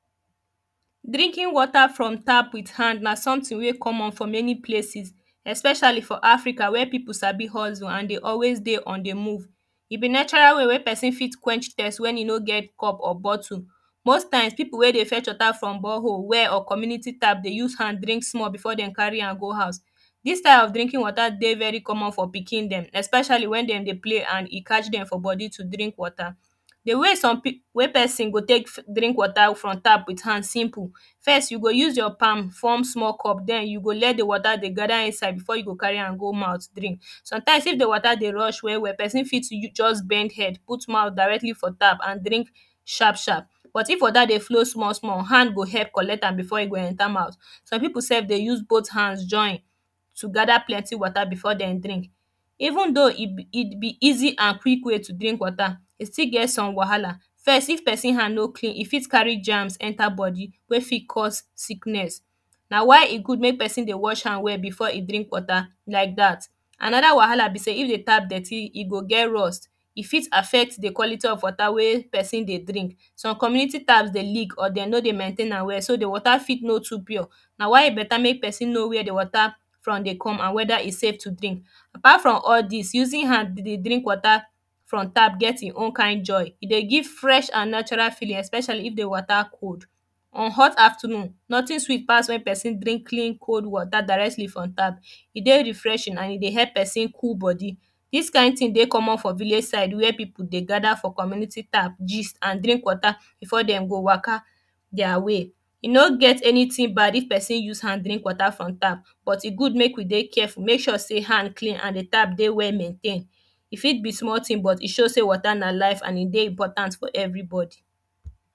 drinking water from tap wit hand na sometin wey comon for some places especially for Africa wey people sabi hustle an dey always dey on the move e be natural way wey person fit quench thirst wen e no get cup or bottle most time people wey dey fetch wata from borehole well or community tap dey use hand drink small before dem carry am go house this style of drinking wata dey very common for pikin dem especially wen dem dey play an e catch dem for body to drink wata the way some people, wey person go take drink wata from tap wit hand simple first you go use your palm form small cup then you go let the way dey gather inside before you go carry am go mi=outh drink sometimes if the wata dey rush well well person fit use just bend head put mouth directly for tap an drink sharp sharp but if wata dey flow small small hand go help collect am before e go enter mouth some people sef dey use both hands join gada plenty wata before dem drink. eventhough it be easy an quick way to drink wata, e still get some wahala first if person hand no clean e fit carry jams enta body wey fit cause sickness na why e good make perosn dey wash hand well befoe e drink wata like that. anoda wahala be sey if dey tap dirty e go get rust e fit affect the quality of wata wey person dey drink some community tap ey leak or dem no dey maintain am well so the wata fit no too pure na why e beta make the person know wey the from dey come and weda e safe to drink apart from all this using hand to dey drink wata from tap get hin own kind joy. e dey give fresh an natural feeling especially if the wata cool on hot afternoon notin sweet pass wen person drink clean cold wata directly from tap e dey refreshih an e dey help person cool body this kind tin dey comon for village side wey people dey gada for community tap gist and drink wata before dem go waka their way e no get anytin bad if perosn use hand drink wata from tap but e good make we dey careful. make suure hand clean and dey tap dey well maintain e fit be small tin but e show sey wata na life an e dey important for everybody